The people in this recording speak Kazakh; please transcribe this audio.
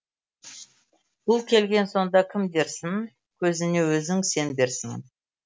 бұл келген сонда кім дерсің көзіңе өзің сенберсің